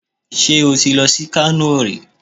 Ṣé o ti lọ sí Kano rí?